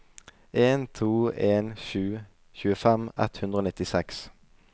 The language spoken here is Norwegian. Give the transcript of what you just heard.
en to en sju tjuefem ett hundre og nittiseks